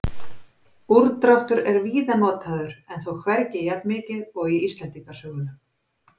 Úrdráttur er víða notaður en þó hvergi jafnmikið og í Íslendingasögunum.